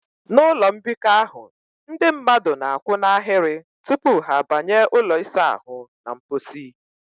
N'ime ụlọ mbikọ ahụ, ndị mmadụ na a kwụ n'ahịrị tupu ha banye ụlọ ịsa ahụ na mposi